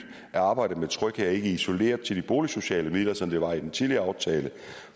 at arbejdet med tryghed ikke er isoleret til de boligsociale midler som det var i den tidligere aftale